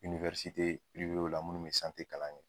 la minnu mɛ kalan kɛ.